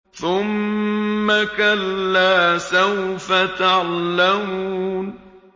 ثُمَّ كَلَّا سَوْفَ تَعْلَمُونَ